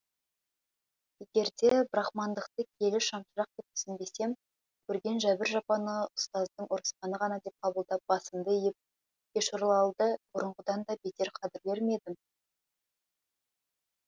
егерде брахмандықты киелі шамшырақ деп түсінбесем көрген жәбір жапаны ұстаздың ұрысқаны ғана деп қабылдап басымды иіп кешорлалды бұрынғыдан да бетер қадірлер ме едім